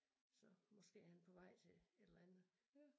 Så måske han på vej til et eller andet